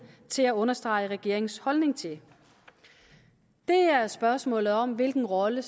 til at understrege regeringens holdning til det er spørgsmålet om hvilken rolle